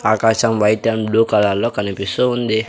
ఆకాశం white and blue colour లో కనిపిస్తూ ఉంది.